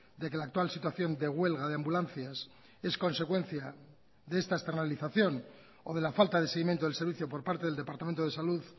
de que la actual situación de huelga de ambulancias es consecuencia de esta externalización o de la falta de seguimiento del servicio por parte del departamento de salud